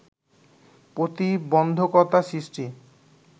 প্রতিবন্ধকতা সৃষ্টি